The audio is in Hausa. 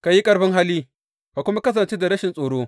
Ka yi ƙarfin hali ka kuma kasance da rashin tsoro.